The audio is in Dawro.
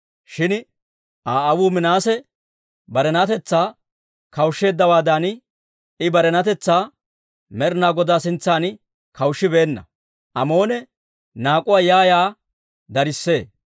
Shin Aa aawuu Minaase barenatetsaa kawushsheeddawaadan, I barenatetsaa Med'inaa Godaa sintsan kawushshibeenna; Amoone naak'uwaa yaa yaa darissee.